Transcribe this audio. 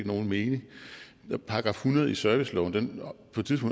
nogen mening § hundrede i serviceloven